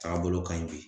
Taga bolo ka ɲi bi